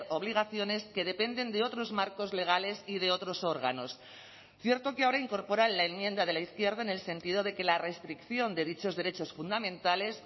obligaciones que dependen de otros marcos legales y de otros órganos cierto que ahora incorporan la enmienda de la izquierda en el sentido de que la restricción de dichos derechos fundamentales